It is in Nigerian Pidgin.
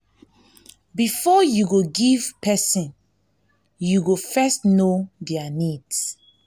before you go give person you go first know their needs